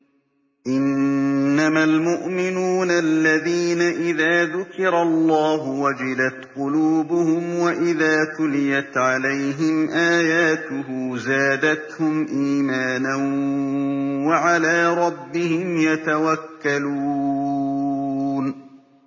إِنَّمَا الْمُؤْمِنُونَ الَّذِينَ إِذَا ذُكِرَ اللَّهُ وَجِلَتْ قُلُوبُهُمْ وَإِذَا تُلِيَتْ عَلَيْهِمْ آيَاتُهُ زَادَتْهُمْ إِيمَانًا وَعَلَىٰ رَبِّهِمْ يَتَوَكَّلُونَ